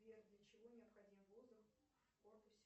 сбер для чего необходим воздух в корпусе